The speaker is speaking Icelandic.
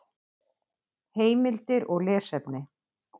Heimildir og lesefni: